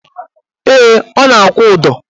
Ee, ọ na-akwụ ụdọ